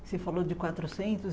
Você falou de quatrocentos